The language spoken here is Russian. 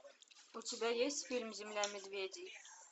у тебя есть фильм земля медведей